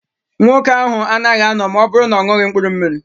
Nwoke ahụ anaghị anọ ma ọ bụrụ na-oṅughi mkpụrụ mmiri.